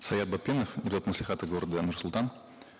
саят батпенов депутат маслихата города нур султан